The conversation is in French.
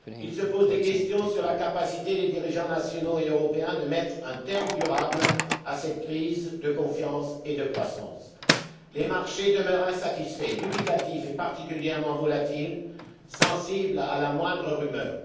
Ils se posent des questions sur la capacité des dirigeants nationaux et européens de mettre durablement un terme à cette crise de confiance et de croissance. Les marchés demeurent insatisfaits, dubitatifs et particulièrement volatiles, sensibles à la moindre rumeur.